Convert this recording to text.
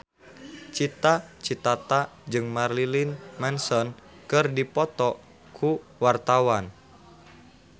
Cita Citata jeung Marilyn Manson keur dipoto ku wartawan